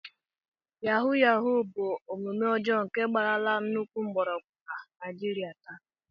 Yahuu yahuu bụ otu omume ọjọọ nke gbarala nnukwu mgbọrọgwụ na Naijiria taa